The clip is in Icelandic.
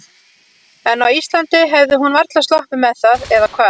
En á Íslandi hefði hún varla sloppið með það, eða hvað?